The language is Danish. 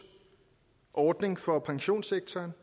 ordning for pensionssektoren